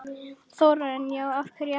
Þórarinn: Já, af hverju ekki?